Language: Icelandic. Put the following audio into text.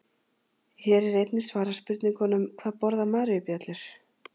Hér er einnig svarað spurningunum: Hvað borða maríubjöllur?